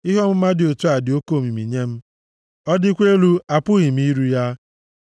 Ihe ọmụma dị otu a dị oke omimi nye m, ọ dịkwa elu apụghị m iru ya.